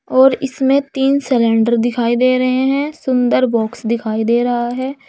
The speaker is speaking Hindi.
और इसमें तीन सिलेंडर दिखाई दे रहे हैं सुंदर बॉक्स दिखाई दे रहा है।